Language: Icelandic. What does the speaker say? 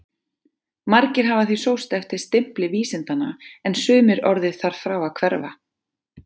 Margir hafa því sóst eftir stimpli vísindanna en sumir orðið þar frá að hverfa.